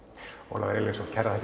Ólafur Elíasson kærar